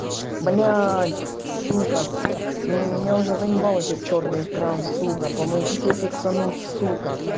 блять сука меня уже заебал этот чёрный экран сука помогите фиксануть сука